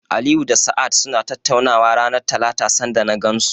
Aliyu da Sa'ad suna tattaunawa ranar Talata sanda na gansu.